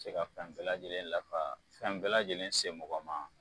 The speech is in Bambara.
Se ka fɛn bɛɛ lajɛlen lafa fɛn bɛɛ lajɛlen se mɔgɔ ma